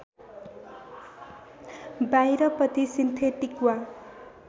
बाहिरपट्टि सिन्थेटिक वा